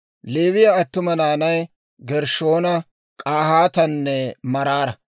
Leewiyaa attuma naanay Gershshoona, K'ahaatanne Maraara.